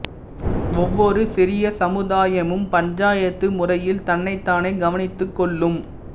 ஒவ்வொரு சிறிய சமுதாயமும் பஞ்சாயத்து முறையில் தன்னைத்தானே கவனித்துக் கொள்ளும்